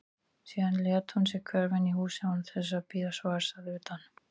Síðan lét hún sig hverfa inn í húsið án þess að bíða svars að utan.